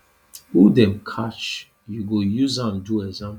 who dem catch you go use am do example